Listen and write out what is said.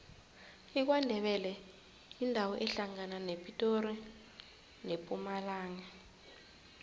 ikwandebele yindawo ehlangana nepitori nempumalanga